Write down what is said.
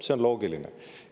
See on loogiline.